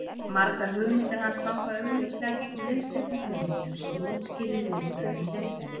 margar hugmyndir hans ganga augljóslega gegn viðteknum hugmyndum sem útskýrir viðbrögðin við þeim